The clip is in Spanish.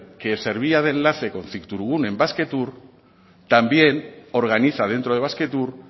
que servía de enlace con cictourgune en basquetour también organiza dentro de basquetour